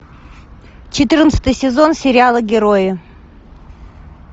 четырнадцатый сезон сериала герои